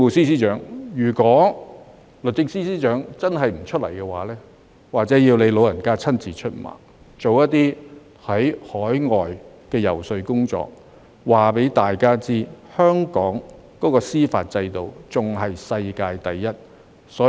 所以，如果律政司司長真的不出來，或許要由政務司司長親自出馬，到海外進行遊說工作，告訴大家香港的司法制度仍是世界第一。